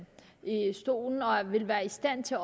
stolen og vil være i stand til